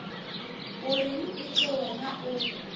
o reng eke wena o